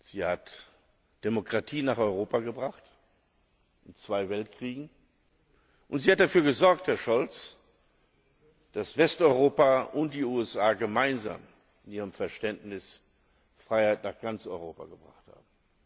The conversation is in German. Sie hat Demokratie nach Europa gebracht, in zwei Weltkriegen, und sie hat dafür gesorgt, Herr Scholz, dass Westeuropa und die USA gemeinsam in ihrem Verständnis Freiheit nach ganz Europa gebracht haben.